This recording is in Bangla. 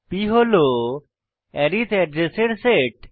p হল আরিথ অ্যাড্রেসের সেট